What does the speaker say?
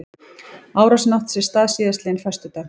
Árásin átti sér stað síðastliðinn föstudag